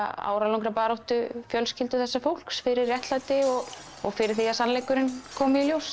áralangrar baráttu fjölskyldu þessa fólks fyrir réttlæti og og fyrir því að sannleikurinn komi í ljós